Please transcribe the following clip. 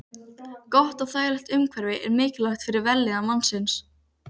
Gott og þægilegt umhverfi er mikilvægt fyrir vellíðan mannsins.